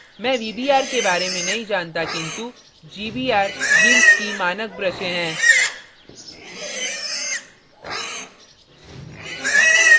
मैं vbr के बारे में नहीं जानती किन्तु gbr gimp की मानक ब्रशें है